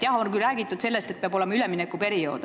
Jah, on räägitud sellest, et peab olema üleminekuperiood.